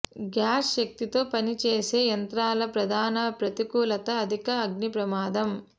gas శక్తితో పనిచేసే యంత్రాల ప్రధాన ప్రతికూలత అధిక అగ్ని ప్రమాదం